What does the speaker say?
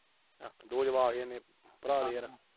ਦੋ ਜਵਾਕ ਜੇ ਨੇ, ਭਰਾ ਦੇ ਯਾਰ।